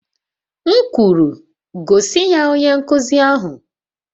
M kwuru, gosi ya onye nkuzi ahụ!